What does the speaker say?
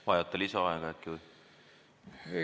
Vajate lisaaega äkki või?